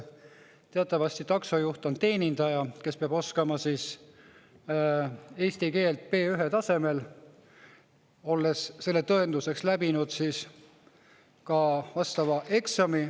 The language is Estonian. Teatavasti taksojuht on teenindaja, kes peab oskama eesti keelt B1 tasemel, olles selle tõenduseks läbinud ka vastava eksami.